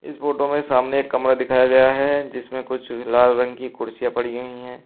इस फोटो में सामने एक कमरा दिखाया गया है जिसमें कुछ लाल रंग की कुर्सियां पड़ी हुई हैं।